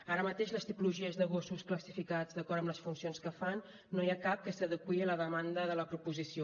ara mateix de les tipologies de gossos classificats d’acord amb les funcions que fan no n’hi ha cap que s’adeqüi a la demanda de la proposició